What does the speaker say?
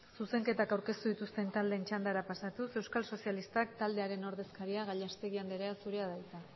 zuzenketak aurkeztu dituzten taldeen txandara pasatuz euskal sozialistak taldearen ordezkariak gallastegui andrea zurea da hitza